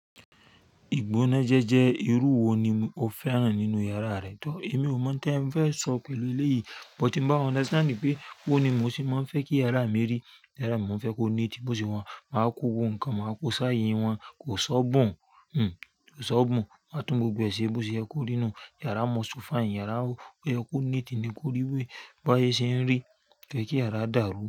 Igbónájẹ́ jẹ́ irú wo ni o fẹ́ ràn án nínú yàrá rẹ? To èmi ò mọ n tẹfẹ sọ pẹ̀lú eléyìí buh tí n bá understand pé booni mo sé máa ń fẹ́ kí yàrá mí rí. Yàrá mi mò fẹ́ kó neati, bó ṣe wà un, máa kó gbogbo nǹkan, máa kó sáyé wọn, kò ṣọ́bùn. Hmm, kò ṣọ́bùn. Màá tún gbogbo ẹ ṣẹ bó ṣe yẹ kó rí nù. Yàrá mọ ṣu fine, yàrá o yẹ kó neati ni kó rí wí, bá yé ṣe ń rí, kò yẹ kí yàrá dàrú.